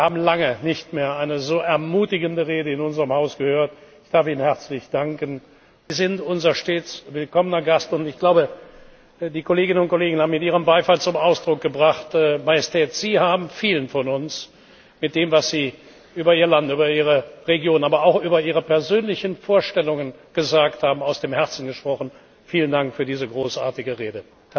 Ich glaube, wir haben lange nicht mehr eine so ermutigende Rede in unserem Haus gehört. Ich darf Ihnen herzlich danken. Sie sind uns ein stets willkommener Gast, und ich glaube, die Kolleginnen und Kollegen haben mit ihrem Beifall zum Ausdruck gebracht, dass Sie vielen von uns mit dem, was Sie über Ihr Land, über Ihre Region, aber auch über Ihre persönlichen Vorstellungen gesagt haben, aus dem Herzen gesprochen haben. Vielen Dank für diese großartige Rede!